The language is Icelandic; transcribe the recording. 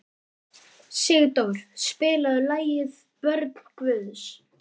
Sigdór, spilaðu lagið „Börn Guðs“.